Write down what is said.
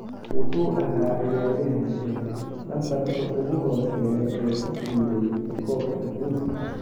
Wuxuu ahaa ciyaaryahan leh lambarka ugu hooseeya ee ku guuleysta koobka adduunka.